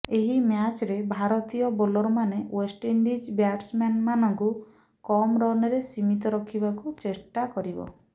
ଏହି ମ୍ୟାଚରେ ଭାରତୀୟ ବୋଲରମାନେ ଓ୍ବେଷ୍ଟଇଣ୍ଡିଜ ବ୍ୟାଟ୍ସମ୍ୟାନମାନଙ୍କୁ କମ୍ ରନରେ ସୀମିତ ରଖିବାକୁ ଚେଷ୍ଟା କରିବ